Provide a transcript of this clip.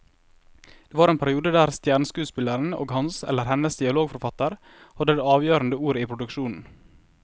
Det var en periode der stjerneskuespilleren og hans eller hennes dialogforfatter hadde det avgjørende ordet i produksjonen.